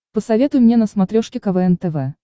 посоветуй мне на смотрешке квн тв